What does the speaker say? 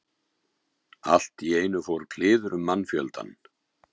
Allt í einu fór kliður um mannfjöldann.